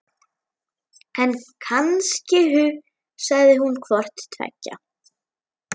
En kannski hugsaði hún hvort tveggja.